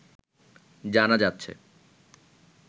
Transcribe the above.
জানা যাচ্ছে